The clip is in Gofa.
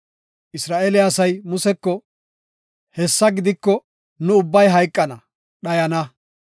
Isra7eele asay Museko, “Hessa gidiko, nu ubbay hayqana; dhayana.